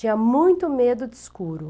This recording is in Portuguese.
Tinha muito medo de escuro.